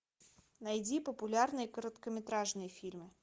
найди популярные короткометражные фильмы